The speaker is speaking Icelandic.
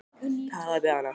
Talaðu við hana.